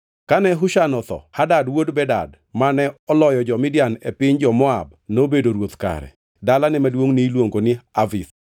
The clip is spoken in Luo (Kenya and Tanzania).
Kane Husham otho, Hadad wuod Bedad, mane oloyo jo-Midian e piny jo-Moab nobedo ruoth kare. Dalane maduongʼ niluongo ni Avith.